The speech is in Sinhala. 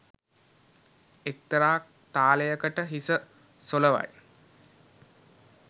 එක්තරා තාලයකට හිස සොලවයි.